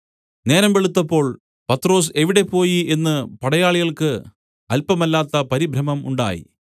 നേരം വെളുത്തപ്പോൾ പത്രൊസ് എവിടെ പോയി എന്ന് പടയാളികൾക്ക് അല്പമല്ലാത്ത പരിഭ്രമം ഉണ്ടായി